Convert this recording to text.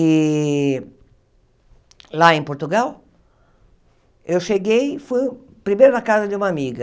E lá em Portugal, eu cheguei, fui primeiro na casa de uma amiga.